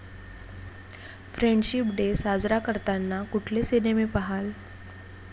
Friendship day साजरा करताना कुठले सिनेमे पाहाल?